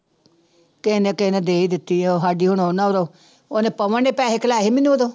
ਕਿਸੇ ਨੇ ਕਿਸੇ ਨੇ ਦੇ ਹੀ ਦਿੱਤੀ ਆ ਉਹ ਸਾਡੀ ਉਹਨੇ ਪਵਨ ਨੇ ਪੈਸੇ ਖਲਾਏ ਸੀ ਮੈਨੂੰ ਉਦੋਂ